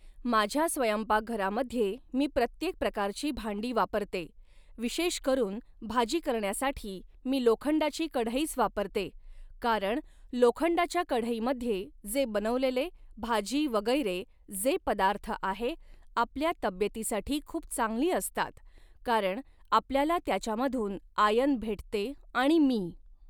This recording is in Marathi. माझ्या स्वयंपाकघरामध्ये मी प्रत्येक प्रकारची भांडी वापरते विशेषकरून भाजी करण्यासाठी मी लोखंडाची कढईच वापरते कारण लोखंडाच्या कढईमध्ये जे बनवलेले भाजी वगैरे जे पदार्थ आहे आपल्या तब्येतीसाठी खूप चांगली असतात कारण आपल्याला त्याच्यामधून आयन भेटते आणि मी